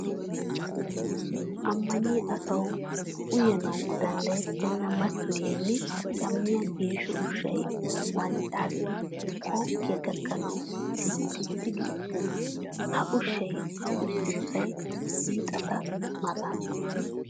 Ammaniya asawu uyanawu danddayettenna mattoyiya nne cammiya geesho ushshay wanccaassi kookkiya gakkanawu silxxi gi uttiis. Ha ushshay uttosay hiixetta maataana.